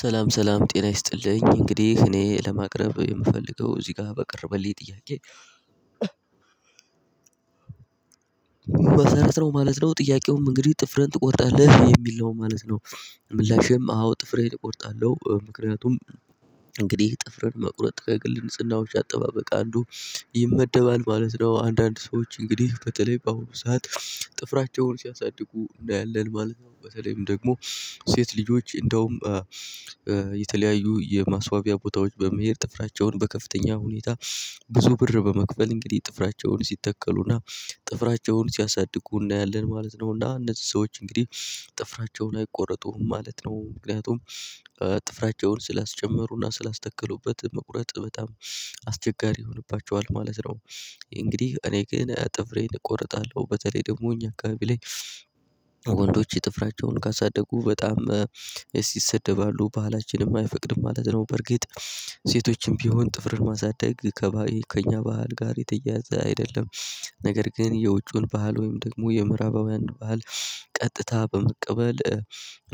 ሰላም ሰላም ጤና ይስጥልኝ፣ እንግዲህ እኔ ለማቅረብ የምፈልገው እዚህ ጋር በቀረበልኝ ጥያቄ በሰረት ነው ማለት ነው። ጥያቄውም እንግዲህ "ጥፍርህን ትቆርጣለህ?" የሚል ነው ማለት ነው። ምላሼም አዎ ጥፍሬን እቆርጣለሁ። ምክንያቱም እንግዲህ ጥፍርን መቁረጥ ከግል ንጽህናዎች አጠባበቃ አንዱ ይመደባል ማለት ነው። አንዳንድ ሰዎች እንግዲህ በተለይ በአሁኑ ሰዓት ጥፍራቸውን ሲያሳድጉ እናያለን ማለት ነው። በተለይም ደግሞ ሴት ልጆች እንደውም የተለያዩ የማስዋቢያ ቦታዎች በመሄድ ጥፍራቸውን በከፍተኛ ሁኔታ ብዙ ብር በመክፈል እንግዲህ ጥፍራቸውን ሲተከሉና ጥፍራቸውን ሲያሳድጉ እናያለን ማለት ነው፤ እና እነዚህ ሰዎች እንግዲህ ጥፍራቸውን አይቆረጡም ማለት ነው። ምክንያቱም ጥፍራቸውን ስላስጨመሩና ስላስተከሉበት መቁረጥ በጣም አስቸጋሪ ይሆንባቸዋል ማለት ነው። እንግዲህ እኔ ግን ጥፍሬን እቆርጣለሁ በተለይ ደግሞ እኛ አካባቢ ላይ ጥፍራቸውን ካሳደጉ በጣም እስ ይሰደባሉ ባህላችንም አይፈቅድም ማለት ነው። በርግጥ ሴቶችም ቢሆን ጥፍርን ማሳደግ ከባ ከኛ ባህል ጋር የተያያዘ አይደለም፤ ነገር ግን የውጪውን ባህል ወይም ደግሞ የምዕራባዊያንን ባህል ቀጥታ በመቀበል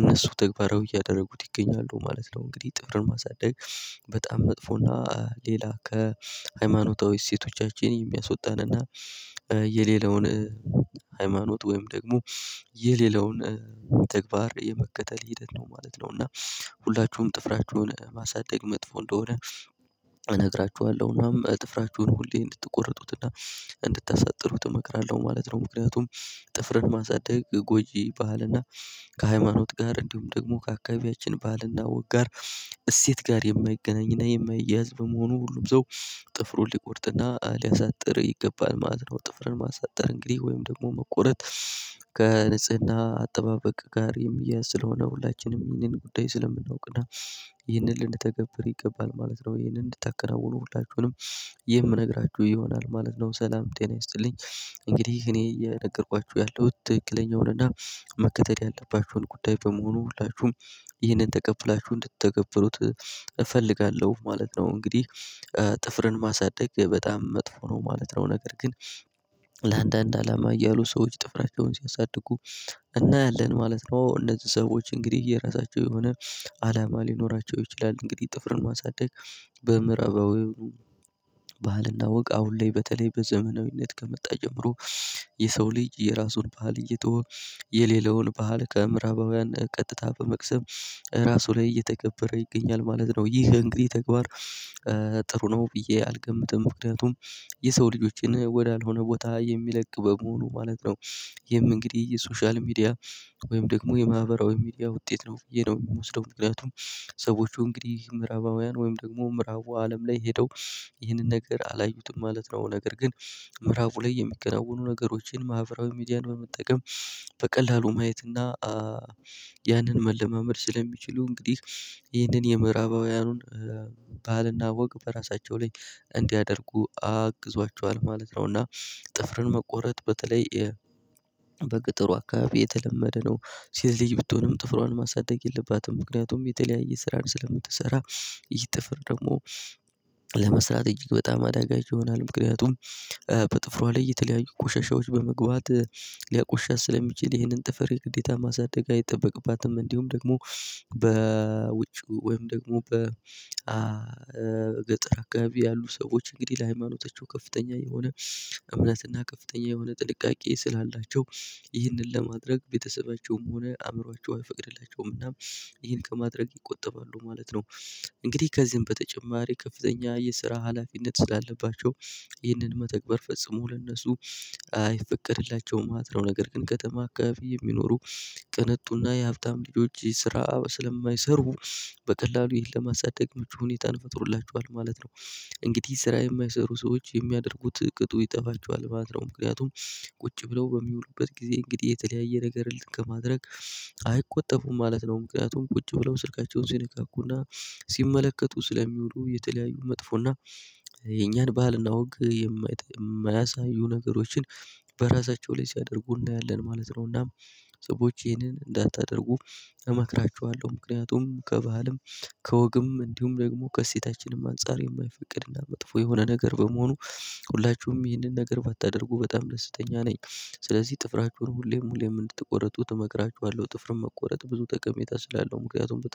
እነሱ ተግባራዊ እያደረጉት ይገኛሉ ማለት ነው። እንግዲህ ጥፍርን ማሳደግ በጣም መጥፎና ሌላ ከሃይማኖታዊ እሴቶቻችን የሚያስወጣንና የሌላውን ሃይማኖት ወይም ደግሞ የሌላውን ተግባር የመከተል ሂደት ነው ማለት ነው፤ እና ሁላችሁም ጥፍራችሁን ማሳደግ መጥፎ እንደሆነ እነግራችኋለሁ እናም ጥፍራችሁን ሁሌ እንድትቆርጡትና እንድታሳጥሩት እመክራለሁ ማለት ነው። ምክንያቱም ጥፍርን ማሳደግ ጎጂ ባህልና ከሃይማኖት ጋር እንዲሁም ደግሞ ከአካባቢያችን ባህልና ወግ ጋር እሴት ጋር የማይገናኝና የማይያዝ በመሆኑ ሁሉም ሰው ጥፍሩን ሊቆርጥና ሊያሳጥር ይገባል ማለት ነው። ጥፍርን ማሳጠር እንግዲህ ወይም ደግሞ መቆረጥ ከንጽህና አጠባበቅ ጋር የሚያያዝ ስለሆነ ሁላችንም ይህንን ጉዳይ ስለምናውቅ እና ይህንን ልንተገብር ይገባል ማለት ነው ይህንን እንድታከናውኑ ሁላችሁንም የምነግራችሁ ይሆናል ማለት ነው። ሰላም ጤና ይስጥልኝ እንግዲህ እኔ እየነገርኳችሁ ያለሁት ትክክለኛውን እና መከተል ያለባችሁን ጉዳይ በመሆኑ ሁላችሁም ይህንን ተቀብላችሁ እንድትተገብሩት እፈልጋለሁ ማለት ነው። እንግዲህ ጥፍርን ማሳደግ በጣም መጥፎ ነው ማለት ነው፤ ነገር ግን ለአንዳንድ አላማ እያሉ ሰዎች ጥፍራቸውን ሲያሳድጉ እናያለን ማለት ነው። እነዚህ ሰዎች እንግዲህ የራሳቸው የሆነ አላማ ሊኖራቸው ይችላል። እንግዲህ ጥፍርን ማሳደግ በምዕራባዊ ባህልና ወግ አሁን ላይ በተለይ በዘመናዊነት ከመጣ ጀምሮ የሰው ልጅ የራሱን ባህል እየተወ የሌላውን ባህል ከምዕራባውያን ቀጥታ በመቅሰም ራሱ ላይ እየተገበረ ይገኛል ማለት ነው። ይህ እንግዲህ ተግባር ጥሩ ነው ብዬ አልገምትም። ምክንያቱም የሰው ልጆችን ወዳልሆነ ቦታ የሚለቅ በመሆኑ ማለት ነው። ይሄም እንግዲህ የሶሻል ሚዲያ ወይም ደግሞ የማህበራዊ ሚዲያ ውጤት ነው ብዬ ነው የምወስደው። ምክንያቱም ሰዎቹ እንግዲህ ምዕራባውያን ወይም ደግሞ ምዕራቡ አለም ላይ ሄደው ይህንን ነገር አላዩትም ማለት ነው፤ ነገር ግን ምዕራቡ ላይ የሚገናውኑ ነገሮችን ማህበራዊ ሚዲያን በመጠቀም በቀላሉ ማየት እና ያንን መለማመድ ስለሚችሉ እንግዲህ ይህንን የምዕራባውያኑን ባህልና ወግ በራሳቸው ላይ እንዲያደርጉ አግዟቸዋል ማለት ነው፤ እና ጥፍርን መቆረጥ በተለይ በቅ አካባቢ የተለመደ ነው። ሴት ልጅ ብትሆንም ጥፍሯን ማሳደግ የለባትም። ምክንያቱም የተለያየ ስራን ስለምትሰራ ይህ ጥፍር ደግሞ ለመስራት እጅግ በጣም አዳጋች ይሆናል። ምክንያቱም በጥፍሯ ላይ የተለያዩ ቆሻሻዎች በመግባት ሊያቆሽሻት ስለሚችል ይሄንን ጥፍር የግዴታ ማሳደግ አይጠበቅባትም፤ እንዲሁም ደግሞ ወይም ደግሞ በገጠር አካባቢ ያሉ ሰዎች እንግዲህ ለሃይማኖታቸው ከፍተኛ የሆነ እምነትና ከፍተኛ የሆነ ጥንቃቄ ስላላቸው ይህንን ለማድረግ ቤተሰባቸውም ሆነ አእምሯቸው አይፈቅድላቸውም እና ይሄን ከማድረግ ይቆጠባሉ ማለት ነው። እንግዲህ ከዚህም በተጨማሪ ከፍተኛ የስራ ሀላፊነት ስላለባቸው ይህንን መተግበር ፈጽሞ ለእነሱ አይፈቀድላቸውም ማለት ነው፤ ነገር ግን ከተማ አካባቢ የሚኖሩ ቅንጡና የሀብታም ልጆች ስራ ስለማይሰሩ በቀላሉ ይሄን ለማሳደግ ምቹ ሁኔታን ፈጥሮላቸዋል ማለት ነው። እንግዲህ ስራ የማይሰሩ ሰዎች የሚያደርጉት ቅጡ ይጠፋቸዋል ማለት ነው። ምክንያቱም ቁጭ ብለው በሚውሉበት ጊዜ እንግዲህ የተለያየ ነገር እንትን ከማድረግ አይቆጠቡም ማለት ነው። ምክንያቱም ቁጭ ብለው ስልካቸውን ሲነካኩና ሲመለከቱ ስለሚውሉ የተለያዩ መጥፎ እና የኛን ባህልና ወግ የማይጠ የማያሳዩ ነገሮችን በራሳቸው ላይ ሲያደርጉ እናያለን ማለት ነው፤ እናም ሰዎች ይህንን እንዳታደርጉ እመክራችኋለሁ። ምክንያቱም ከባህልም ከወግም እንዲሁም ደግሞ ከእሴታችንም አንፃር የማይፈቅድና መጥፎ የሆነ ነገር በመሆኑ ሁላችሁም ይህንን ነገር ባታደርጉ በጣም ደስተኛ ነኝ። ስለዚህ ጥፍራችሁን ሁሌም ሁሌም እንድትቆረጡት እመክራችኋለሁ። ጥፍርን መቆረጥ ብዙ ጠቀሜታ ስላለው ምክንያቱም በጥፍ